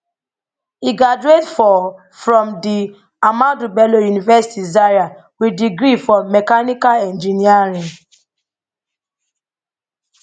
e graduate for from di ahmadu bello university zaria wit degree for mehanical engineering